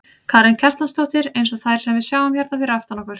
Karen Kjartansdóttir: Eins og þær sem við sjáum hérna fyrir aftan okkur?